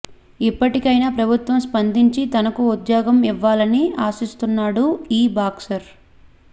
ఇప్పటికైనా ప్రభుత్వం స్పందించి తనకు ఒక ఉద్యోగం ఇవ్వాలని ఆశిస్తున్నాడు ఈ బాక్సర్